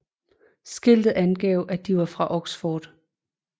Skiltet angav at de var fra Oxford